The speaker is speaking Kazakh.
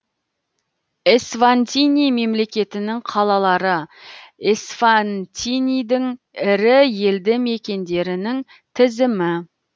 эсватини мемлекетінің қалалары эсватинидің ірі елді мекендерінің тізімі